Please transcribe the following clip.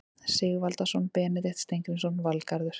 Sigvaldason, Benedikt Steingrímsson, Valgarður